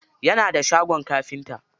Yana da shagon kafinta.